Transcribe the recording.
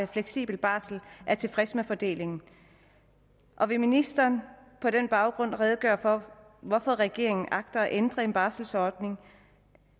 fleksible barsel er tilfredse med fordelingen og vil ministeren på den baggrund redegøre for hvorfor regeringen agter at ændre en barselordning